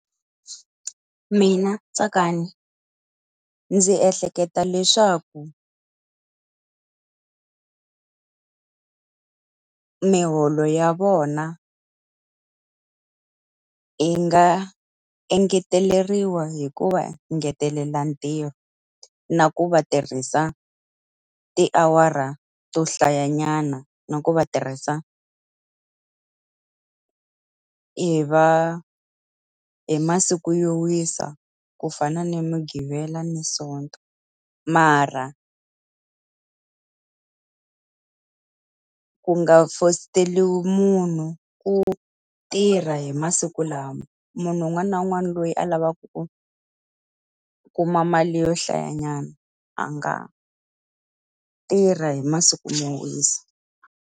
Mina Tsakani ndzi ehleketa leswaku miholo ya vona yi nga engeteleriwa hi ku va ngetelela ntirho na ku va tirhisa tiawara to hlayanyana, na ku va tirhisa hi masiku yo wisa ku fana ni Muqibela na Sonto. Mara ku nga fosteriwi munhu ku tirha hi masiku lawa. Munhu un'wana na un'wana loyi a lavaku ku kuma mali yo hlayanyana a nga tirha hi masiku mo wisa.